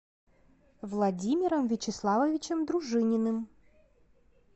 владимиром вячеславовичем дружининым